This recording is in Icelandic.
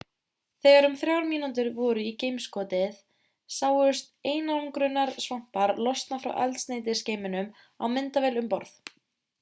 þegar um þrjár mínútur voru í geimskotið sáust einangrunarsvampar losna frá eldsneytisgeyminum á myndavél um borð